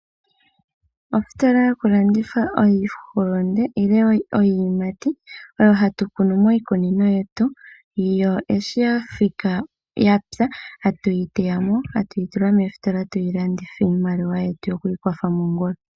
Ositola yokulanditha iihulunde nenge iiyimati mbyoka hatu kunu miikunino yetu, yo shiyathika nenge yapya ta tuyi teyamo, tatuyi tula moositola twiilandithe iimaliwa yetu yowiikwatha komongula.